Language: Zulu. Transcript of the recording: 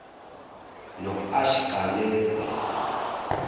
noashikaneze